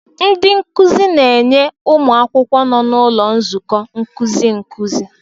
Ndị nkuzi na-enye ụmụ akwụkwọ nọ n'ụlọ nzukọ nkuzi nkuzi.